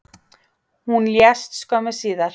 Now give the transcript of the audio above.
Hún lést skömmu síðar